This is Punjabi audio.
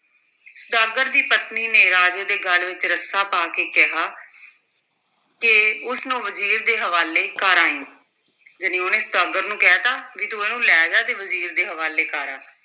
ਸੁਦਾਗਰ ਦੀ ਪਤਨੀ ਨੇ ਰਾਜੇ ਦੇ ਗਲ ਵਿੱਚ ਰੱਸਾ ਪਾ ਕੇ ਕਿਹਾ ਕਿ ਉਸ ਨੂੰ ਵਜ਼ੀਰ ਦੇ ਹਵਾਲੇ ਕਰ ਆਈਂ ਜਾਣੀ ਉਹਨੇ ਸੁਦਾਗਰ ਨੂੰ ਕਹਿ ਦਿੱਤਾ ਵੀ ਤੂੰ ਇਹਨੂੰ ਲੈ ਜਾ ਤੇ ਵਜ਼ੀਰ ਦੇ ਹਵਾਲੇ ਕਰ ਆ।